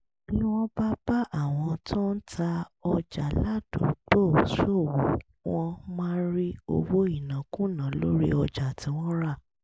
tí wọ́n bá bá àwọn tó ń ta ọjà ládùúgbò ṣòwò wọ́n máa rí owó ìnákúnàá lórí ọjà tí wọ́n rà